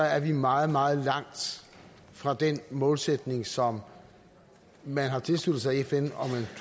er vi meget meget langt fra den målsætning som man har tilsluttet sig i fn